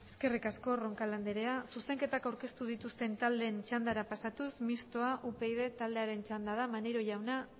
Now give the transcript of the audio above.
eskerrik asko roncal andrea zuzenketak aurkeztu dituzten taldeen txandara pasatuz mistoa upyd taldearen txanda da maneiro jauna